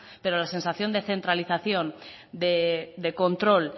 pero la sensación de centralización de control